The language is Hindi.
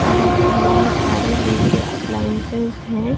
यहाँ पर बहुत सारे जिम के एप्लायंसेज हैं।